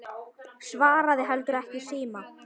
Svaraði heldur ekki í síma.